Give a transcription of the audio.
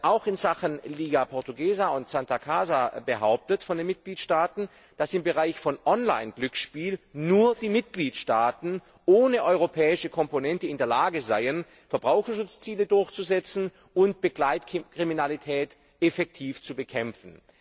Auch in Sachen Liga Portuguesa und Santa Casa wird von den Mitgliedstaaten behauptet, dass im Bereich von Online Glücksspielen nur die Mitgliedstaaten, ohne europäische Komponente, in der Lage seien, Verbraucherschutzziele durchzusetzen und Begleitkriminalität effektiv zu bekämpfen.